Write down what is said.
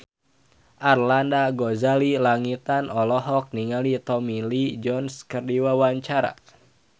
Arlanda Ghazali Langitan olohok ningali Tommy Lee Jones keur diwawancara